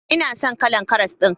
Ina son kalan karas din.